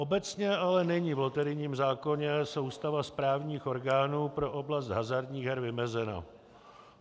Obecně ale není v loterijním zákoně soustava správních orgánů pro oblast hazardních her vymezena.